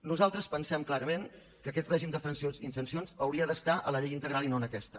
nosaltres pensem clarament que aquest règim d’infraccions i sancions hauria d’estar a la llei integral i no en aquesta